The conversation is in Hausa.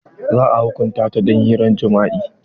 Za a hukunta ta don hirar jima'i.